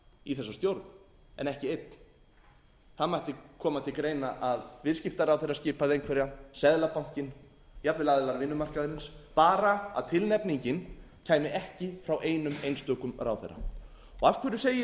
í þessa stjórn en ekki einn það mætti koma til greina að viðskiptaráðherra skipaði einhverja seðlabankinn jafnvel aðilar vinnumarkaðarins bara að tilnefningin kæmi ekki frá einum einstökum ráðherra af hverju segi ég